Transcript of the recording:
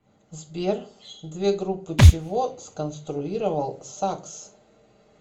сбер две группы чего сконструировал сакс